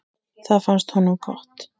Það fannst honum gott.